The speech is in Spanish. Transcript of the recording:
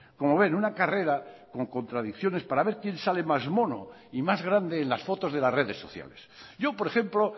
como ven una carrera con contradicciones para ver quién sale más mono y más grande en las fotos de las redes sociales yo por ejemplo